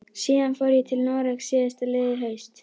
Síðan fór ég til Noregs síðastliðið haust.